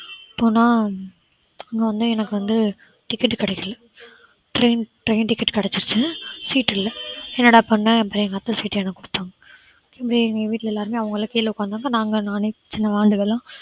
போனா அங்க வந்து எனக்கு வந்து ticket கிடைக்கல. train ticket கிடைச்சுச்சு seat இல்ல என்னடா பண்ண அப்புறம் எங்க அத்தை seat அ எனக்கு குடுத்தாங்க. அப்படியே எங்க வீட்ல எல்லாருமே அவங்களா கீழே உட்கார்ந்துருந்தாங்க நாங்க நானும் சின்ன வாண்டுகலாம்